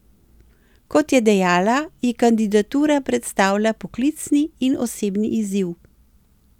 Kot je dejala, ji kandidatura predstavlja poklicni in osebni izziv.